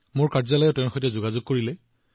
মোৰ কাৰ্যালয়ে তেওঁৰ সৈতে যোগাযোগ কৰিলে